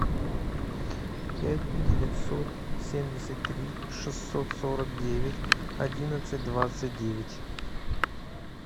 пять девятьсот семьдесят три шестьсот сорок девять одиннадцать двадцать девять